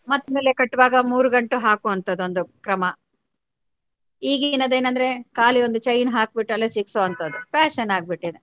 ಮತ್ತಿನಲ್ಲೇ ಕಟ್ಟುವಾಗ ಮೂರು ಗಂಟು ಹಾಕುವಂತದು ಒಂದು ಕ್ರಮ ಈಗ ಏನಂದ್ರೆ ಖಾಲಿ ಒಂದು chain ಹಾಕ್ ಬಿಟ್ಟು ಅಲ್ಲೆ ಸಿಕ್ಕಿಸುವಂತದ್ದು fashion ಆಗ್ಬಿಟ್ಟಿದೆ.